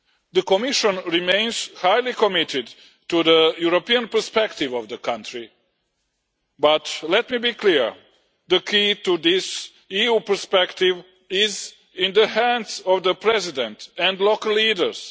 The Commission remains highly committed to the European perspective of the country but let me be clear, the key to this EU perspective is in the hands of the President and local leaders.